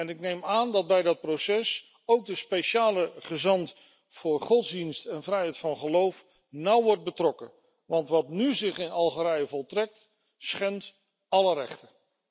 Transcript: Ik neem aan dat bij dat proces ook de speciale gezant voor godsdienst en vrijheid van geloof nauw wordt betrokken, want wat zich nu in Algerije voltrekt, schendt alle rechten.